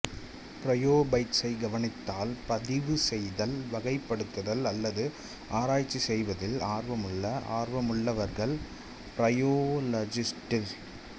ப்ரோயோஃபைட்ஸை கவனித்தல் பதிவு செய்தல் வகைப்படுத்துதல் அல்லது ஆராய்ச்சி செய்வதில் ஆர்வமுள்ள ஆர்வமுள்ளவர்கள் ப்ரோயோலஜிஸ்ட்ஸ்